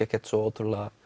ekkert svo